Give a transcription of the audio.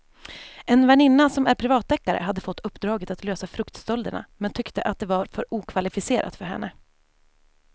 En väninna som är privatdeckare hade fått uppdraget att lösa fruktstölderna men tyckte att det var för okvalificerat för henne.